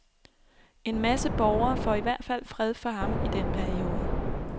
En masse borgere får i hvert fald fred for ham i den periode.